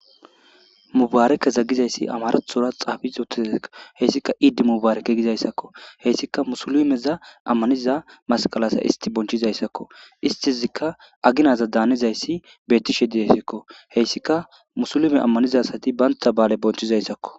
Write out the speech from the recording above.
mubaarekeza gizayssi amarathora xaafis uttizako heyssika iidi mubaareke gizayssakko heyssika musulimeza ammaniza masqalasa isti bonchizayssakko istizikka aginaza daanizayssi bettishe didesakko heyssika musulime ammaniza asati baynta baale bonchizayssakko.